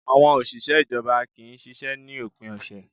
Àwọn òṣìṣẹ́ ìjọba kì í ṣiṣẹ́ ní òpin ọ̀sẹ̀